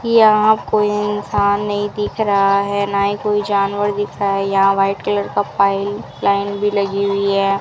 यहां कोई इंसान नहीं दिख रहा है ना ही कोई जानवर दिख रहा है यहां व्हाइट कलर का पाइप लाइन भी लगी हुई है।